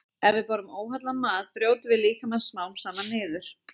Ef við borðum óhollan mat brjótum við líkamann smám saman niður.